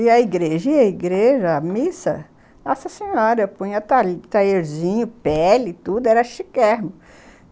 E a igreja, a igreja, a missa, nossa senhora, punha talherzinho, pele, tudo, era chiquérrimo.